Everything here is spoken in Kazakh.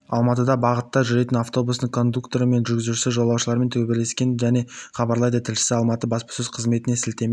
алматыда бағытта жүретін автобустың кондукторы мен жүргізушісі жолаушылармен төбелескен деп хабарлайды тілшісі алматы баспасөз қызметіне сілтеме